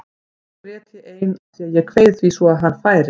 Oft grét ég ein af því að ég kveið því svo að hann færi.